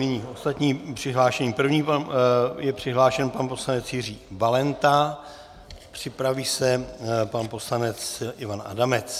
Nyní ostatní přihlášení: první je přihlášen pan poslanec Jiří Valenta, připraví se pan poslanec Ivan Adamec.